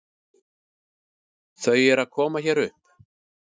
Þau eru að koma hér upp.